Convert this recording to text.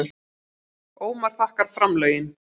Ómar þakkar framlögin